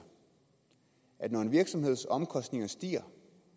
at når en virksomheds omkostninger stiger